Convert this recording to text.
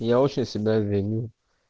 я очень себя виню